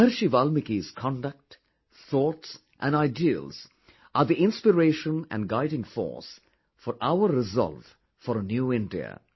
Maharishi Valmiki's conduct, thoughts and ideals are the inspiration and guiding force for our resolve for a New India